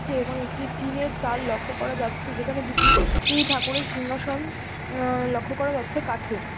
Building teacher পাশে অনেক বড় বড় গাছ রয়েছে এবং একটি ভাঙ্গা আছে দেখা যাচ্ছে।